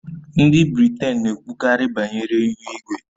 Ndị Britain na-ekwukarị banyere ihu igwe